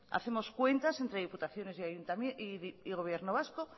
hacemos cuentas entre diputaciones y gobierno vasco